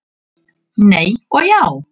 Nei og já!